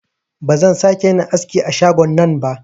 Ba zan sa ke yin aski a shagon nan ba